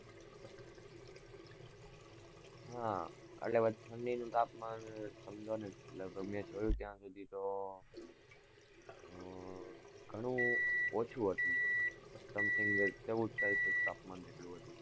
હા, એટલે પછી ઠંડીનું તાપમાન, સમજો ને, લગભગ મેં જોયું ત્યાં સુધી તો ઘણું ઓછું હતું something ચૌદ celcius તાપમાન જેટલું હતું.